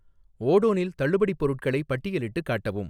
ஓடோனில் தள்ளுபடிப் பொருட்களை பட்டியலிட்டுக் காட்டவும்